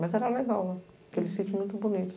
Mas era legal, aquele sítio muito bonito.